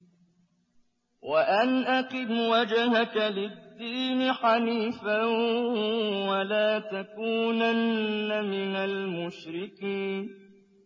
وَأَنْ أَقِمْ وَجْهَكَ لِلدِّينِ حَنِيفًا وَلَا تَكُونَنَّ مِنَ الْمُشْرِكِينَ